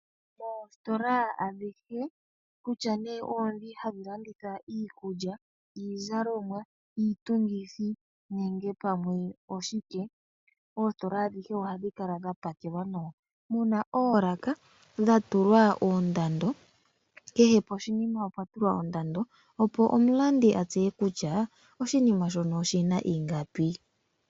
Moositola adhihe kutya nee oondhoka hadhi landitha iikulya, iizalomwa, Iitungithi nenge pamwe oshike .oositola adhihe ohadhi kala dha pakelwa nawa opo omulandi atseye kutya oshinima shono oshina ingapi.